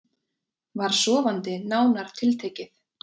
Var sofandi nánar tiltekið.